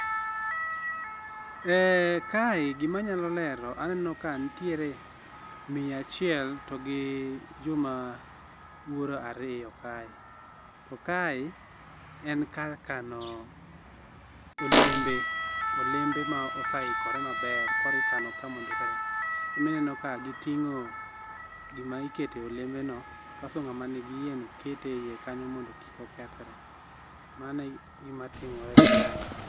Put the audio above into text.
Eeeh, kae gima anyalo lero aneno ka nitiere miyo achiel togi joma wuoro ariyo kae. To kae en kar kano, olembe, olembe ma osaikore maber koro ikano ka mondo kik kethre. Ema ineno ka gitingo gima ikete oleme go kasto ng'ama nigi iye no kete eiye kanyo mondo kik okethre. Mano egima timore kae